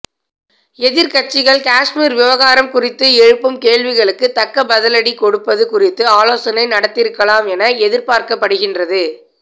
எதிர்க்கட்சிகள் காஷ்மீர் விவகாரம் குறித்து எழுப்பும் கேள்விகளுக்கு தக்க பதிலடி கொடுப்பது குறித்து ஆலோசனை நடந்திருக்கலாம் என எதிர்பார்க்கப்படுகிறது